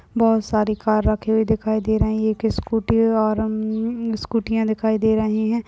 बहोत सारी कार रखी हुई दिखाई दे रही है एक स्कूटी है और हमम स्कूटीया दिखाई दे रही है।